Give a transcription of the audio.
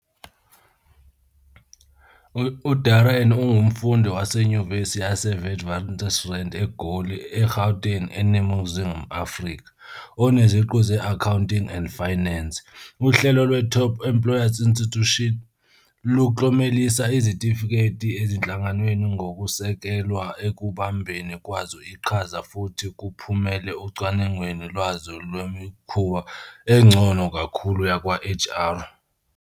UDarren ungumfundi waseNyuvesi yaseWitwatersrand eGoli, eGauteng, eNingizimu Afrika, oneziqu ze-Accounting and Finance. Uhlelo lwe-Top Employers Institute luklomelisa izitifiketi ezinhlanganweni ngokusekelwe ekubambeni kwazo iqhaza futhi kuphumele ocwaningweni lwazo Lwemikhuba Engcono Kakhulu Yakwa-HR.